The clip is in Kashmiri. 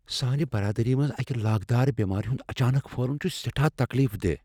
سانہِ برادری منز اکہِ لاگدار بیمارِ ہٗند اچانك پھہلٗن چھٗ سیٹھاہ تكلیف دہ ۔